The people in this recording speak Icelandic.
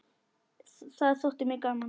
Það þótti mér gaman.